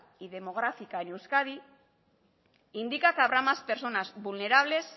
y demográfica en euskadi indica que habrá más personas vulnerables